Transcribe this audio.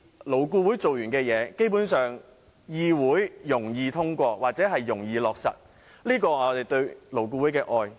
勞顧會完成的事情，在議會上會較易通過或落實，這是我對勞顧會的愛。